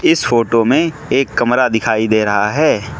इस फोटो मे एक कमरा दिखाई दे रहा है।